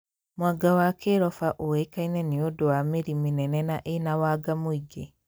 Mwanga wa kĩroba ũikaine nĩ ũndũ wa mĩri mĩnene na ĩna wanga mũingĩ